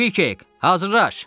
Kvikik, hazırlaş!